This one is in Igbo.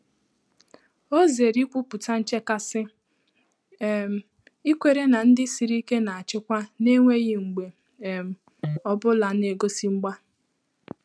Ọ́ zèrè ìkwùpụ́tà nchékàsị́, um íkwèré nà ndị́ sìrì íké nà-àchị́kwá n’énwéghị́ mgbè um ọ bụ́lá nà-égósí mgbà.